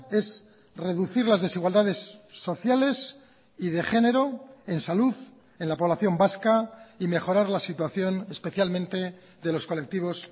es reducir las desigualdades sociales y de género en salud en la población vasca y mejorar la situación especialmente de los colectivos